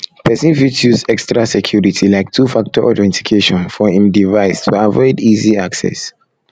person fit use extra security like 2 factor authentication for im device to avoid easy access